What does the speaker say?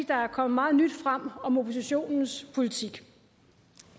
der er kommet meget nyt frem om oppositionens politik